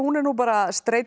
er nú bara